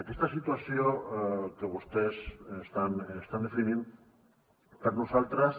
aquesta situació que vostès estan definint per nosaltres